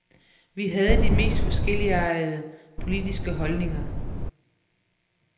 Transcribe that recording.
Vi havde de mest forskelligartede politiske holdninger.